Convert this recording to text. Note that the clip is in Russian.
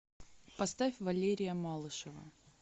поставь валерия малышева